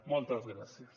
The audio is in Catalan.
moltes gràcies